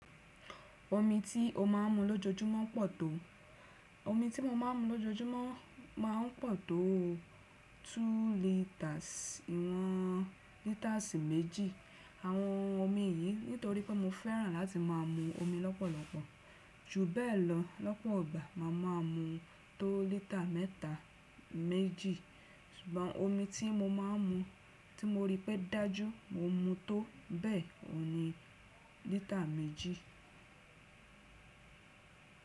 Omi tí o máa ń mu lójoojúmọ́ pọ̀ tó- omi ti mo maa n mu lojojumo maa n po to two litres, ìwọ̀n lításì méjì. Àwọn omi yìí nítorí pé mo fẹ́ràn láti máa mu omi lọ́pọ̀lọpọ̀. Jù bẹ́ẹ̀ lọ, lọ́pọ̀ gbà máa maa mu tó lítà mẹ́ta méjì. Ṣùgbọ́n omi tí mo máa ń mu tí mo rí pé dájú, mo mu tó bẹ́ẹ̀ ohun ní lítà méjì.